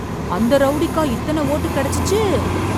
அந்த ரவுடிக்கா இத்தனை ஓட்டு கிடைச்சுச்சு?